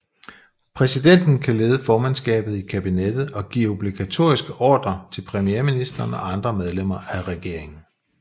Præsidenten kan lede formandskabet i kabinettet og give obligatoriske ordrer til premierministeren og andre medlemmer af regeringen